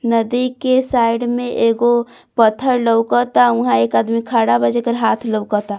नदी के साइड में एगो पत्थर लउकता उहां एक आदमी खड़ा बा जेकर हाथ लउकता।